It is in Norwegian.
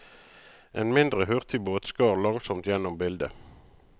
En mindre hurtigbåt skar langsomt gjennom bildet.